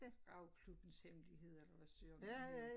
Ravklubbens hemmelighed eller hvad søren den hed